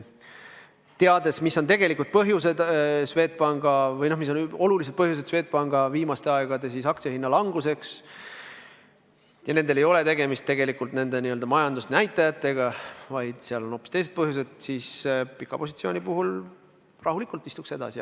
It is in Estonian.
Teades, mis on olulised põhjused Swedbanki aktsiahinna languseks viimasel ajal – nendel ei ole suurt tegemist nende n-ö majandusnäitajatega, vaid seal on hoopis teised põhjused –, ma pika positsiooni puhul rahulikult istuks edasi.